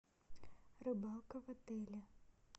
рыбалка в отеле